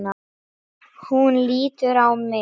Hún lítur á mig.